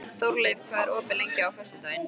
Þórleif, hvað er opið lengi á föstudaginn?